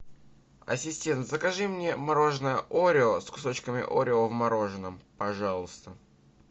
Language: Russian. ассистент закажи мне мороженое орео с кусочками орео в мороженом пожалуйста